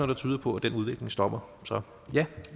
der tyder på at den udvikling stopper så ja